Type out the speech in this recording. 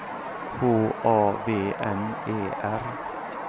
H A V N E R